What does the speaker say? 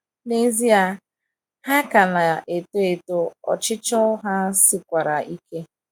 n'ezie, ha ka na - eto eto, ọchịchọ ha sikwara ike!